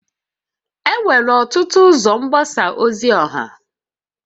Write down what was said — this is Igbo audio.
Enwere ọtụtụ ụzọ mgbasa ozi ọha